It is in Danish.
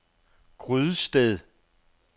Grydsted